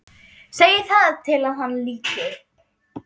Segir það til að hann líti upp.